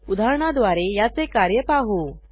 उदाहरणाद्वारे याचे कार्य पाहू